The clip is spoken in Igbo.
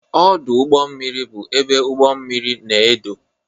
Ọdụ ugbọ mmiri bụ ebe ụgbọ mmiri na-edo.